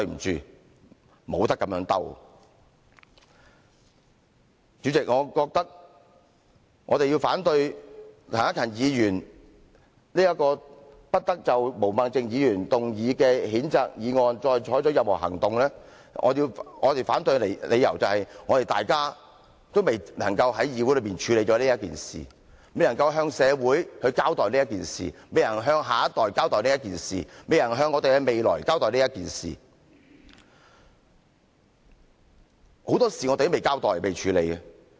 主席，我們要反對陳克勤議員這項"不得就毛孟靜議員動議的譴責議案再採取任何行動"的議案，我們反對的理由是，大家仍未能在議會上處理這事宜、未能向社會交代這事宜、未能向下一代交代這事宜、未能向我們的未來交代這事宜，很多事我們仍未交代和處理。